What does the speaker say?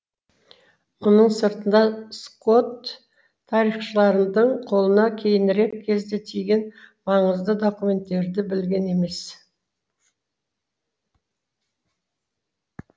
мұның сыртында скотт тарихшылардың қолына кейінірек кезде тиген маңызды документтерді білген емес